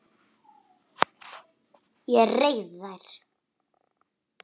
Ég reif þær.